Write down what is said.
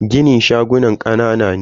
ginin shagunan kanana ne.